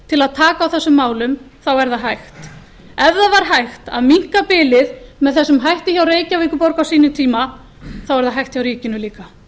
til að taka á þessum málum er það hægt ef það var hægt að minnka bilið með þessum hætti hjá reykjavíkurborg á sínum tíma er það hægt hjá ríkinu líka